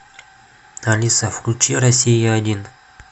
алиса включи россия один